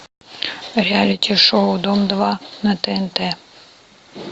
реалити шоу дом два на тнт